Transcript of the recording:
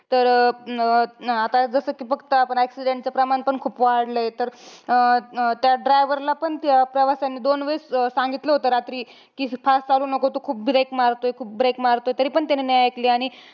तर अं अं आता जसं कि बघतो आपण accident चं प्रमाण पण खूप वाढलंय. तर अं अं त्या driver ला पण त्या प्रवाश्यांनी दोन वेळेस अं सांगितलं होतं रात्री. कि fast चालवू नको तू खूप break मारतोय खूप break मारतोय, तरीपण त्याने नाही ऐकली. आणि